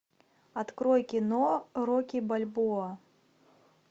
открой кино рокки бальбоа